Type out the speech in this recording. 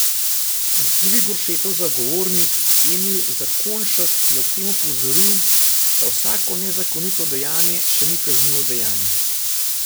Drugi Goršetov zagovornik, Emil Zakonjšek, je ob tem opozoril, da vsako nezakonito dejanje še ni kaznivo dejanje.